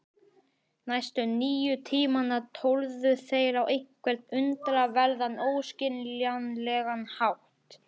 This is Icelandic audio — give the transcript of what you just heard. Næstu níu tímana tórðu þeir á einhvern undraverðan, óskiljanlegan hátt.